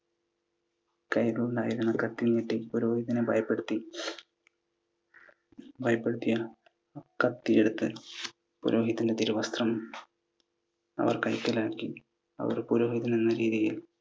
കൈയിലുണ്ടായിരുന്ന കത്തി നീട്ടി പുരോഹിതനെ ഭയപ്പെടുത്തി. ഭയപ്പെടുത്തി കത്തിയെടുത്തു പുരോഹിതൻ്റെ തിരുവസ്ത്രം അവർ കൈക്കലാക്കി. അവർ പുരോഹിതനെന്ന രീതിയിൽ